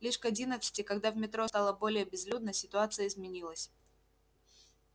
лишь к одиннадцати когда в метро стало более безлюдно ситуация изменилась